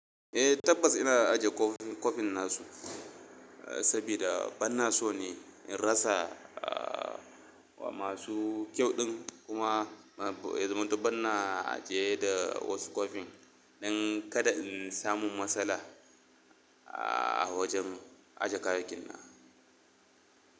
Eh tabbas ina ajiye kwafin nasu sabida banna so ne in rasa wa masu kyauɗin kuma banna ajiye da wasu kwafin don kada in samu matsala a wajen ajiye kayayyakin.